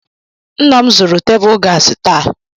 Nna m zụrụ tebụl gaasị taa.